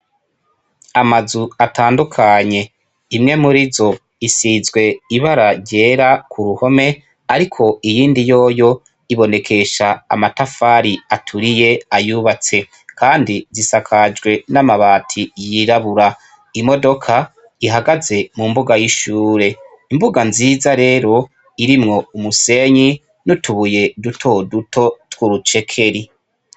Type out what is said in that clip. Amazu atandukanye imwe muri zo isizwe ibara ryera ku ruhome, ariko iyindi yoyo ibonekesha amatafari aturiye ayubatse, kandi zisakajwe n'amabati yirabura, imodoka ihagaze mu mbuga y'ishure, mbuga nziza rero irimwo umusenyi n utubuye duto duto twurucekeri.